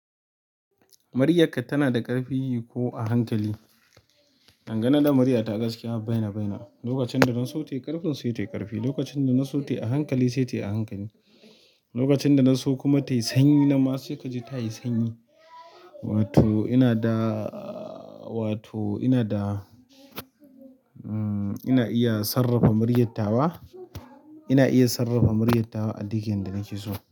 Muryakka tana da ƙarfi ko a hankali? Dangane da muryata gaskiya, baina baina. Lokacin da na so tayi ƙarfi sai tayi ƙarfi, lokacin da na so tayi a hankali sai tayi a hankali. Lokacin da na so kuma tayi sanyi nanma sai kaji tayi sanyi. Wato ina da, wato ina da, um ina iya sarrafa muryattawa ina iya sarrafa muryyatawa a duk inda nake so.